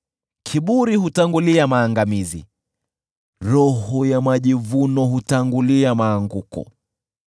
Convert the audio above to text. Kiburi hutangulia maangamizi, roho ya majivuno hutangulia maanguko.